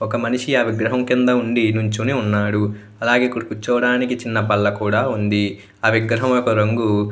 ఓక మనిషి ఒక విగ్రహం కింద ఉండి నిల్చోని ఉన్నాడు. అలాగే అకడ కూర్చోడానికి ఒక బలే కూడా వుంది. విగ్రహారం యొక రంగు --